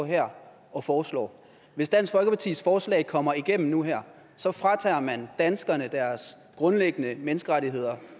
her og foreslår hvis dansk folkepartis forslag kommer igennem nu og her så fratager man danskerne deres grundlæggende menneskerettigheder